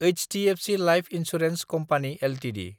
HDFC life insurance company Ltd